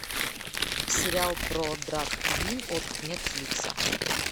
сериал про драг квин от нетфликса